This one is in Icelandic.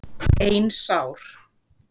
Ein sár.